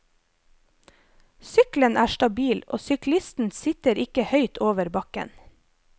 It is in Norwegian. Sykkelen er stabil, og syklisten sitter ikke høyt over bakken.